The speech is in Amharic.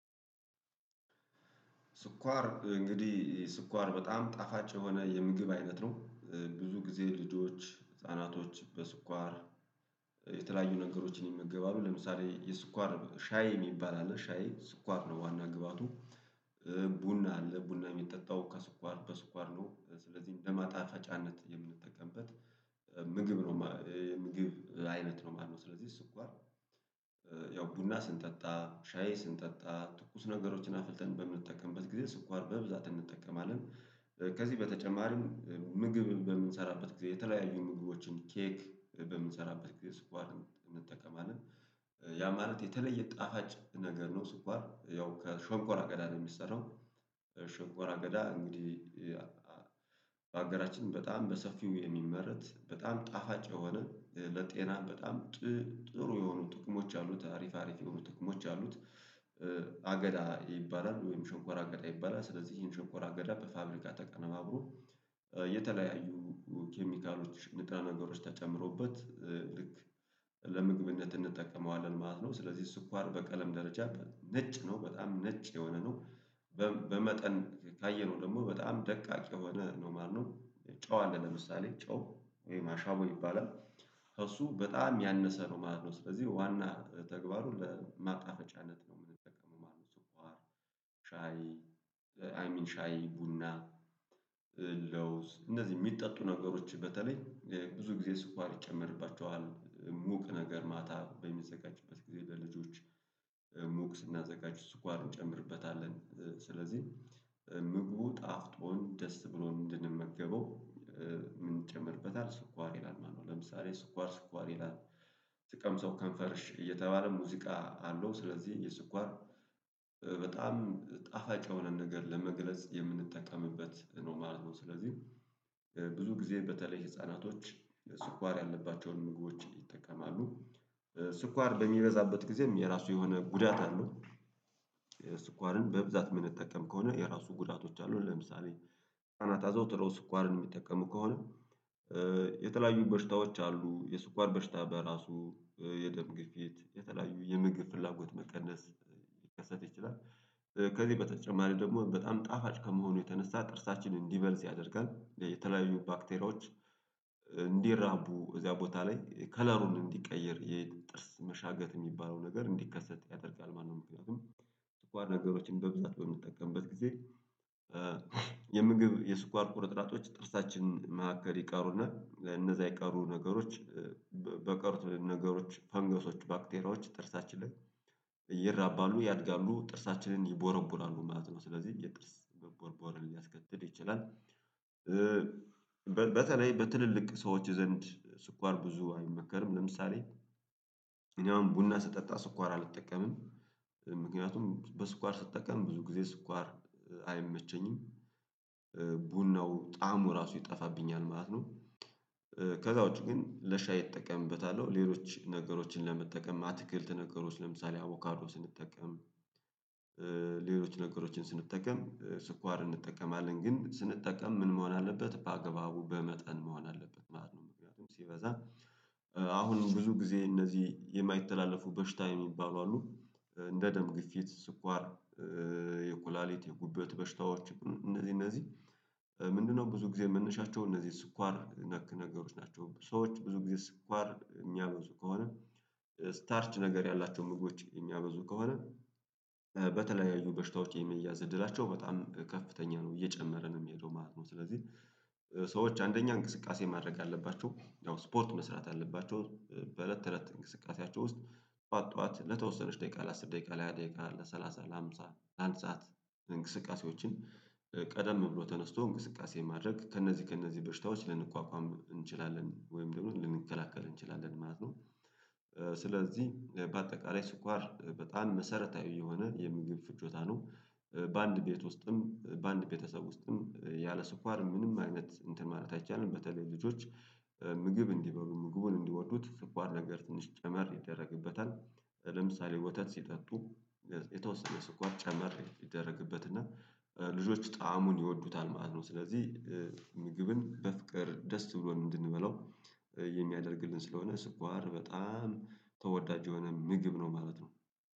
ስኳር እንግዲህ ስኳር በጣም ጣፋጭ የሆነ የምግብ አይነት ነው። ብዙ ጊዜ ልጆች ህፃናቶች በስኳር የተለያዩ ነገሮችን ይመገባሉ ለምሳሌ የስኳር ሻይ የሚባል አለ ሻይ ስኳር ነው ዋና ግብአቱ። ቡና አለ ቡና የሚጠጣው ከስኳር በስኳር ነው ስለዚህ በማጣፋጫነት የምንጠቀምበት ምግብ ነው። ምግብ አይነት ነው ማለት ነው። ስለዚህ ስኳር ያው ቡና ስንጠጣ ሻዬ ስንጠጣ ትኩስ ነገሮችን አፍልተን በምንጠቀምበት ጊዜ ስኳር በብዛት እንጠቀማለን። ከዚህ በተጨማሪም ምግብ በምንሰራበት ጊዜ የተለያዩ ንግግሮችን ኬክ በምንሰራበት ጊዜ ስኳር እንጠቀማለን። ያ ማለት የተለየ ጣፋጭ ነገር ነው። ስኳር ያው ከሸንኮራ አገዳ ነው የሚሰራው። ሸንኮራ አገዳ እንግዲህ። በአገራችን በጣም በሰፊው የሚመረት በጣም ጣፋጭ የሆነ ለጤና በጣም ጥሩ የሆኑ ጥቅሞች አሉት አሪፍ አሪፍ የሆኑ ጥቅሞች አሉት። አገዳ ይባላል ወይም ሸንኮራ አገዳ ይባላል። ስለዚህ ይሄን ሸንኮራ አገዳ በፋብሪካ ተቀነባብሮ የተለያዩ ኬሚካሎች ንጥረ ነገሮች ተጨምሮበት ልክ ለምግብነት እንጠቀመዋለን ማለት ነው። ስለዚህ ስኳር በቀለም ደረጃ ነጭ ነው በጣም ነጭ የሆነ ነው። በመጠን ካየነው ደግሞ በጣም ደቃቅ የሆነ ነው ማለት ነው። ጨው አለ ለምሳሌ ጨው ወይም አሻቦ ይባላል። እሱ በጣም ያነሰ ነው ማለት ነው ስለዚህ ዋና ተግባሩን ለማጣፈጫነት ነው የምንጠቀመው ማለት ነው። ሻይ አይ ሚን ሻይ ቡና ለውዝ እንደዚህ የሚጠጡ ነገሮች በተለይ ብዙ ጊዜ ስኳር ይጨመርባቸዋል ሙቅ ነገር ማታ በሚዘጋጅበት ጊዜ ለልጆች ሙቅ ስናዘጋጅ ስኳር እንጨምርበታለን ስለዚህ። ምግቡ ጣፍጦን ደስ ብሎን እንድንመገበው ምን እንጨምርበታል ስኳር ይላል ማለት ነው። ለምሳሌ ስኳር ስኳር ይላል። ስቀምሰው ከንፈርሽ እየተባለ ሙዚቃ አለው። ስለዚህ የስኳር በጣም ጣፋጭ የሆነ ነገር ለመግለጽ የምንጠቀምበት ነው ማለት ነው። ስለዚህ ብዙ ጊዜ በተለይ ህፃናቶች ስኳር ያለባቸውን ምግቦች ይጠቀማሉ ስኳር በሚበዛበት ጊዜም የራሱ የሆነ ጉዳት አለው። ስኳርን በብዛት ምንጠቅም ከሆነ የራሱ ጉዳቶች አሉ ለምሳሌነት አዘውትሮ ስኳርን የሚጠቀሙ ከሆነ። የተለያዩ በሽታዎች አሉ የስኳር በሽታ በራሱ የደም ግፊት የተለያዩ የምግብ ፍላጎት መቀነስ ሊከሰት ይችላል። ከዚህ በተጨማሪ ደግሞ በጣም ጣፋጭ ከመሆኑ የተነሳ ጥርሳችንን እንዲበልዝ ያደርጋል የተለያዩ ባክቴሪያዎች እንዲራቡ እዚያ ቦታ ላይ ከለሩን እንዲቀይር የጥርስ መሻገት የሚባለው ነገር እንዲከሰት ያደርጋል ማለት ነው። ምክንያቱም ስኳር ነገሮችን በብዛት በምንጠቀምበት ጊዜ። የምግብ የስኳር ቁርጥራጮች ጥርሳችን ማዕከል ይቀሩና እነዛ የቀሩ ነገሮች በቀሩት ነገሮች ፈንገሶች ባክቴሪያዎች ጥርሳችንን ይራባሉ ያድጋሉ ጥርሳችንን ይቦረቡራሉ ማለት ነው ስለዚህ የጥርስ መቦርቦርን ሊያስከትል ይችላል። በተለይ በትልልቅ ሰዎች ዘንድ ስኳር ብዙ አይመከርም ለምሳሌ። እኔ አሁን ቡና ስጠጣ ስኳር አልጠቀምም። ምክንያቱም በስኳር ስጠቀም ብዙ ጊዜ ስኳር አይመቸኝም። ቡናው ጣዕሙ ራሱ ይጠፋብኛል ማለት ነው። ከዛ ውጪ ግን ለሻይ እጠቀምበታለሁ ሌሎች ነገሮችን ለመጠቀም አትክልት ነገሮች ለምሳሌ አቮካዶ ስንጠቀም። ሌሎች ነገሮችን ስንጠቀም ስኳር እንጠቀማለን ግን ስንጠቀም ምን መሆን አለበት በአገባቡ በመጠን መሆን አለበት ማለት ነው። ምክንያቱም ሲበዛ አሁንም ብዙ ጊዜ እነዚህ የማይተላለፉ በሽታ የሚባሉ አሉ። እንደ ደም ግፊት ስኳር የኩላሊቲ የጉበት በሽታዎች እነዚህ እነዚህ ምንድነው? ብዙ ጊዜ መነሻቸው እነዚህ ስኳር ነክ ነገሮች ናቸው። ሰዎች ብዙ ጊዜ ስኳር የሚያበዙ ከሆነ። ስታርች ነገር ያላቸውን ምግቦች የሚያበዙ ከሆነ። በተለያዩ በሽታዎች የመያዝ እድላቸው በጣም ከፍተኛ ነው እየጨመረ ነው የሚሄደው ማለት ነው። ስለዚህ ሰዎች አንደኛ እንቅስቃሴ ማድረግ አለባቸው ያው ስፖርት መስራት አለባቸው በእለት ተእለት እንቅስቃሴያቸው ውስጥ ጠዋት ጠዋት ለተወሰነች ደቂቃ ለአስር ደቂቃ ለሃያ ደቂቃ ለሰላሳ ለሃምሳ ለአንድ ሰዓት። እንቅስቃሴዎችን ቀደም ብሎ ተነስቶ እንቅስቃሴን ማድረግ ከእነዚህ ከእነዚህ በሽታዎች ልንቋቋም እንችላለን ወይም ደግሞ ልንከላከል እንችላለን ማለት ነው። ስለዚህ በአጠቃላይ ስኳር በጣም መሰረታዊ የሆነ የምግብ ፍጆታ ነው። በአንድ ቤት ውስጥም በአንድ ቤተሰብ ውስጥም ያለ ስኳር ምንም አይነት እንትን ማለት አይቻልም። በተለይ ልጆች ምግብ እንዲበሉ ምግቡን እንዲወዱት ስኳር ነገር ትንሽ ጨመር ይደረግበታል። ለምሳሌ ወተት ሲጠጡ። የተወሰነ ስኳር ጨመር ይደረግበት እና ልጆች ጣዕሙን ይወዱታል ማለት ነው። ስለዚህ ምግብን በፍቅር ደስ ብሎን እንድንበላው የሚያደርግልን ስለሆነ ስኳር በጣም ተወዳጅ የሆነ ምግብ ነው ማለት ነው።